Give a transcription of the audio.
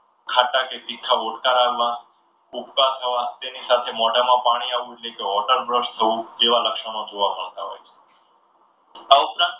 ખાટા કે તીખા ઓડકારા આવવા ઉબકા ખાવા તેની સાથે મોઢામાં પાણી આવવું જે water બસ થવું જેવા લક્ષણો જોવા મળતા હોય છે. આ ઉપરાંત